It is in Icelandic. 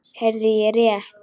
Heyrði ég rétt.